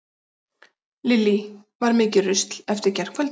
Lillý: Var mikið rusl eftir gærkvöldið?